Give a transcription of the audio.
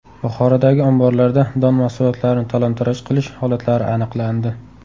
Buxorodagi omborlarda don mahsulotlarini talon-taroj qilish holatlari aniqlandi.